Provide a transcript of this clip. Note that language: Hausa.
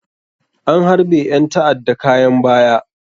An harɓe ƴan tada kayan baya.